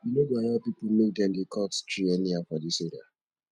we no go allow pipo make dem dey cut tree anyhow for dis area